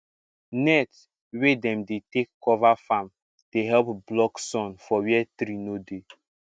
net wey dem dey take cover farm dey help block sun for where tree no dey